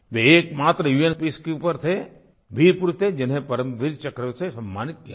वे एक मात्र उन पीसकीपर थे वीरपुरुष थे जिन्हें परमवीर चक्र से सम्मानित किया गया